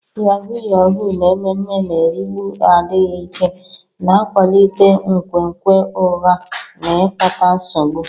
Yahuu yahuu na ememe na-erigbu adịghị ike, na-akwalite nkwenkwe ụgha na ikpata nsogbu.